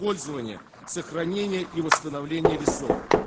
пользование сохранение и восстановление лесов